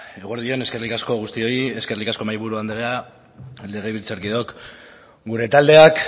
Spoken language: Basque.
eguerdi on eskerrik asko guztioi eskerrik asko mahaiburu andrea legebiltzarkideok gure taldeak